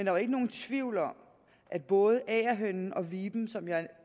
er jo ikke nogen tvivl om at både agerhønen og viben som jeg